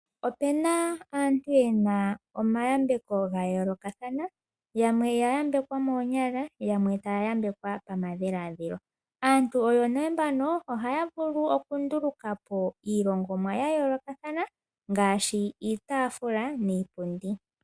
Opuna aantu yena omayambeko ga yoolokathana, yamwe oya yambekwa moonyala, yamwe taya yambekwa pamadhiladhilo. Aantu oyo nee mbano, ohaya vulu okunduluka po iilongomwa ya yoolokathana ngaashi iitafula niipundi.